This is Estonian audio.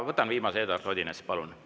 Võtan viimase.